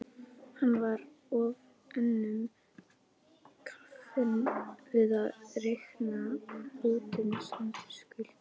Hann var of önnum kafinn við að reikna útistandandi skuldir.